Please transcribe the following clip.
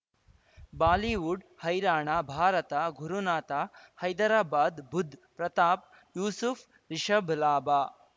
Bollywood ಹೈರಾಣ ಭಾರತ ಗುರುನಾಥ ಹೈದರಾಬಾದ್ ಬುಧ್ ಪ್ರತಾಪ್ ಯೂಸುಫ್ ರಿಷಬ್ ಲಾಭ